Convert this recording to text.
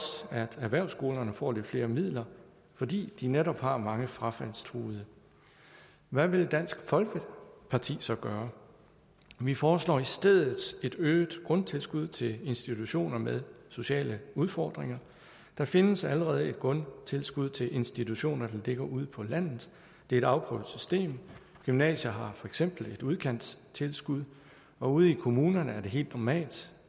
at erhvervsskolerne får lidt flere midler fordi de netop har mange frafaldstruede hvad vil dansk folkeparti så gøre vi foreslår i stedet et øget grundtilskud til institutioner med sociale udfordringer der findes allerede et grundtilskud til institutioner der ligger ude på landet det er et afprøvet system gymnasier har for eksempel et udkantstilskud og ude i kommunerne er det helt normalt